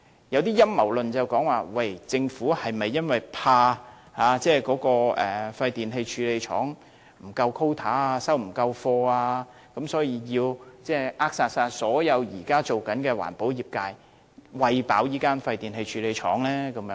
有一些陰謀論說，政府是否因害怕廢電器處理廠不夠 quota 或收貨量不足，所以要扼殺現時所有的環保業，以"餵飽"這間廢電器處理廠呢？